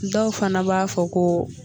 Dɔw fana b'a fɔ ko